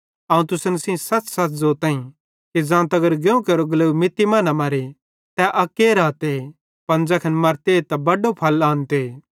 अवं तुसन सेइं सच़सच़ ज़ोताईं कि ज़ां तगर गेहुं केरो ग्लेव मित्ती मां न मर्रे तै अक्के रहते पन ज़ैखन मरते त बड़ो फल आनते तेन्च़रे मीं सेइं साथी भोनूए